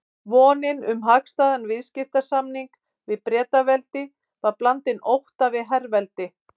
Vonin um hagstæðan viðskiptasamning við Bretaveldi var blandin ótta við herveldi